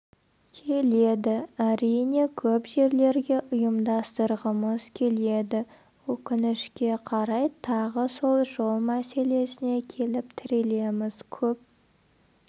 келеді әрине көп жерлерге ұйымдастырғымыз келеді өкінішке қарай тағы сол жол мәселесіне келіп тірелеміз көп